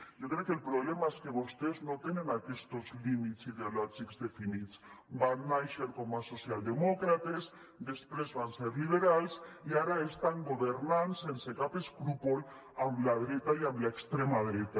jo crec que el problema és que vostès no tenen aquestos límits ideològics definits van nàixer com a social demòcrates després van ser liberals i ara estan governant sense cap escrúpol amb la dreta i amb l’extrema dreta